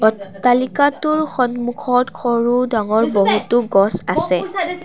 অট্টালিকাটোৰ সন্মুখত সৰু ডাঙৰ বহুতো গছ আছে।